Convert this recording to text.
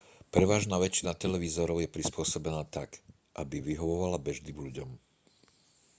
prevažná väčšina televízorov je prispôsobená tak aby vyhovovala bežným ľuďom